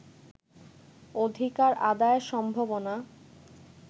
অধিকার আদায়ের সম্ভাবনা